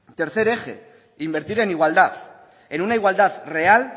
tercer eje invertir en igualdad en una igualdad real